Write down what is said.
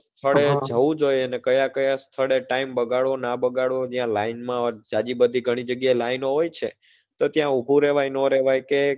સ્થળે જવું જોઈએ ને કયા ક્યાં સ્થળે time બગાડવો ના બગાડવો ન્યા line માં જાજી ગણી બધી line હોય છે તો ત્યાં ઉભું રેવાય નો રેવાય કે,